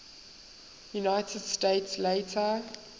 united states later